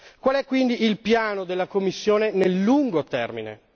Qual è quindi il piano della Commissione sul lungo termine?